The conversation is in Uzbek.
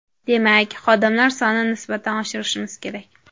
Demak, xodimlar sonini nisbatan oshirishimiz kerak.